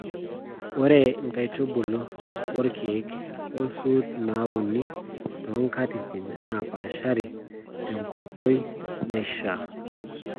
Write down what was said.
Ore nkaitubulu, orkiek, o suut nauni too nkatitin naapashari tenkoitoi naishiaa t